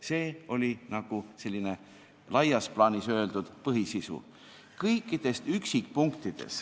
Selline oli laias plaanis öeldult põhisisu.